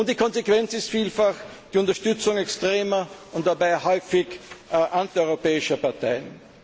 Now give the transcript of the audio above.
Die Konsequenz ist vielfach die Unterstützung extremer und dabei häufig antieuropäischer Parteien.